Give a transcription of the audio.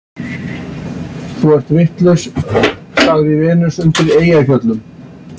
Þú ert vitlaus, sagði Venus undan Eyjafjöllum.